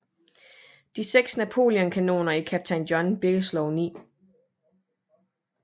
De 6 Napoleon kanoner i kaptajn John Bigelows 9